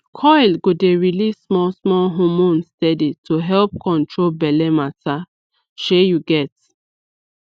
coil go dey release smallsmall hormone steady to help control belle matter shey u get